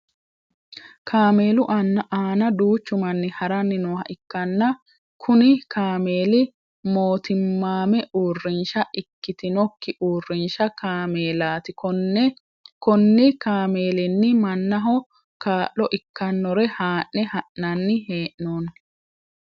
Kaameelu aanna duuchu manni haranni nooha ikanna kunni kaameeli mootimmaamme uurisha ikitinoki uurinsha kaameelaati. Konni kaameelinni manaho kaa'lo ikanore haa'ne ha'nanni hee'noonni.